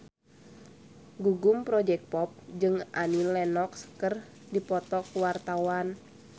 Gugum Project Pop jeung Annie Lenox keur dipoto ku wartawan